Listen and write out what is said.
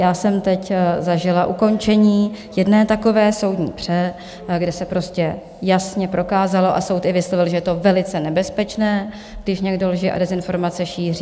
Já jsem teď zažila ukončení jedné takové soudní pře, kde se prostě jasně prokázalo a soud i vyslovil, že je to velice nebezpečné, když někdo lži a dezinformace šíří.